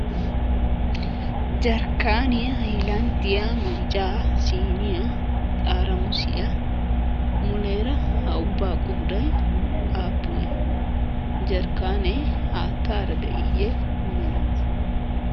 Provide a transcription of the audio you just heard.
jarkaanniya, magija. hayilandiya, siiniya, xaaramusiya ha ubaa qooday aapunee? jarkaane haatara de'iyee mela de'ii?